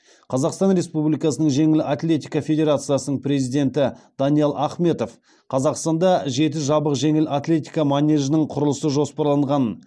қазақстан республикасының жеңіл атлетика федерациясының президенті даниал ахметов қазақстанда жеті жабық жеңіл атлетика манежінің құрылысы жоспарланғанын